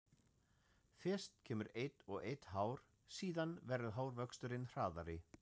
Fyrst kemur eitt og eitt hár, síðan verður hárvöxturinn hraðari.